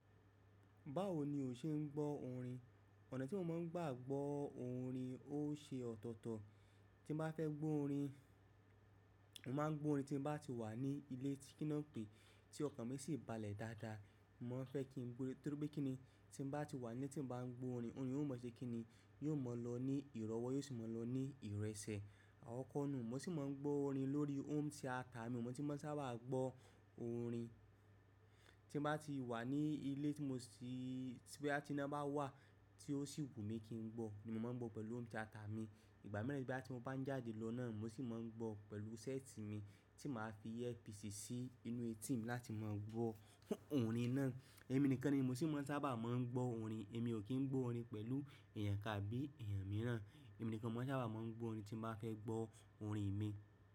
Báwo ni o ṣe ń gbọ́ orin? Ọ̀nà tí mo máa ń gbà gbọ́ orin ó ṣe ọ̀tọ̀ọ̀tọ̀. Tí n bá fẹ́ gbọ́ orin, màá gbọ́ orin tí n bá ti wà ní ilé tí kíná npé tí ọkàn mi sì balẹ̀ dáadáa. Mo máa n fẹ́ kí n gbó nítorí pé kíni tí n bá ti wà ní tí n bá ń gbọ́ orin, orin yen ò máa ṣe kí ni yóò mọ̀ lọ ní ìrọ́wọ́ yóò sì mọ̀ lọ ní ìrẹsì. Àwọn kan ni mo sì máa ń gbọ́ orin lórí home theater mi, mo sì máa ń sábà gbọ́ orin tí n bá ti wà ní ilé tí mo sì boya ti iná bá wà tí ó sì wù mí kí n gbọ́ ni mo máa ń gbọ́ pẹ̀lú home theater mi. Ìgbà miran boya tí mo bá ń jáde lọ náà mo sì máa ń gbọ́ pẹ̀lú set mi tí màá fi earpiece sí inú ẹtí mi láti máa gbọ́ orin náà. Èmi nìkan ni mo sì máa ń sábà máa ń gbọ́ orin. Emi o ki n gbo orin pẹ̀lú eeyan kan àbí eeyan mìíràn. Èmi nìkan ni mo máa ń sábà máa ń gbọ́ orin tí n bá fẹ́ gbọ́ orin mi.